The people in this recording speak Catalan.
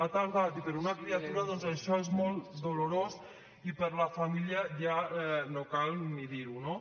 ha tardat i per a una criatura doncs això és molt dolorós i per a la família ja no cal ni dir ho